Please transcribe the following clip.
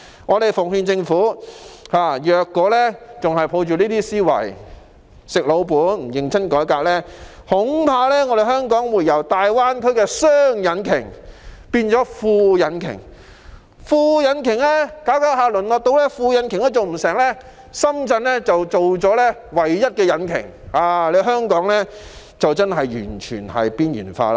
我們奉勸政府，如果還抱着這些思維、"食老本"、不認真改革，恐怕香港會由大灣區的"雙引擎"變為"副引擎"，再逐漸淪落到連"副引擎"也做不到，深圳就成為了唯一的引擎，香港屆時就真的完全被邊緣化。